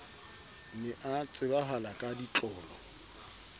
ne a tsebahala ka ditlolo